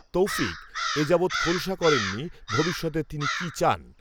তৌফিক, এ যাবত্ খোলসা করেননি, ভবিষ্যতে তিনি কি চান